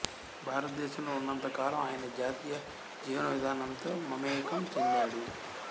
భారతదేశంలో ఉన్నంత కాలం ఆయన జాతీయ జీవనవిధానంతో మమేకం చెందాడు